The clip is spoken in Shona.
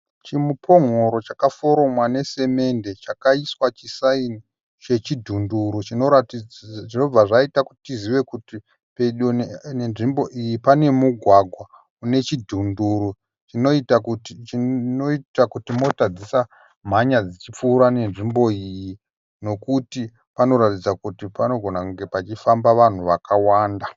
Chimupon'oro chakaforomwa nesemende chakaiswa chisaini chechidhunduru chinoratidzi zvinobva zvaita kuti tizive kuti pedo nenzvimbo iyi panemugwagwa unechidhuru chinoita kuti chinoita kuti mota dzisamhanya dzichipfuura nenzvimbo iyi nokuti panoratidza kuti panogona kunge pachifamba vanhu vakawanda.